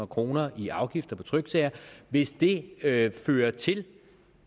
kroner i afgifter på tryksager hvis det fører til